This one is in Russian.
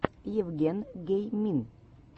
евген геймин